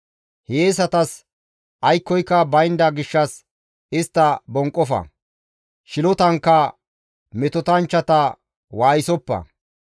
Hiyeesatasi aykkoyka baynda gishshas istta bonqofa; shilotankka metotanchchata waayisoppa.